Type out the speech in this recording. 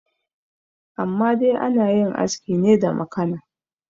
amma dai ana yin aski ne da makana